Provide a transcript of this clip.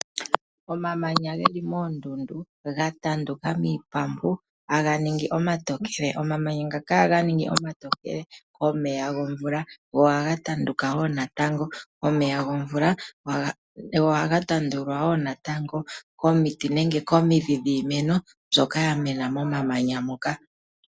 Omamanya geli moondundu ga tanduka miitandu haga ningi omatokele. Omamanya ngaka ohaga ningi omatokele komeya gomvula go ohaga tanduka woo natango komeya gomvula. Ohaga tandulwa woo natango komiti nenge komidhi dhiimeno mbyoka ya mena momamanya moka .